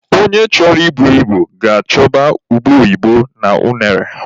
Onye chọrọ I bu ibu ga-achọba ube oyibo na unere.